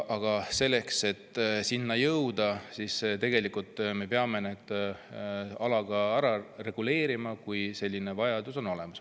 Aga selleks, et jõuda, me peame need alad ära reguleerima, kui selline vajadus on olemas.